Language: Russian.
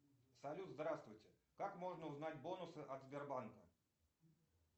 салют здравствуйте как можно узнать бонусы от сбербанка